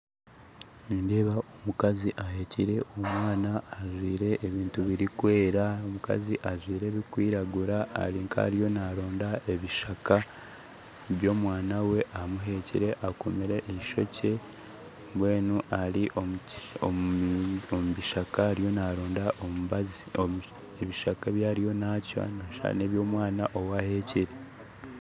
Nindeeba omukazi ahekyire omwana ajwire ebintu birikwera, n'omukazi ajwire ebikwiragura ari nkariyo naronda ebishaka byomwana we amuhekyire ,akomire eshokye mbwenu ari omukishaka omubishaka ariyo naronda ebishaka, ebishaka ebyariyo nacwa nooshusha neby'omwana owahekire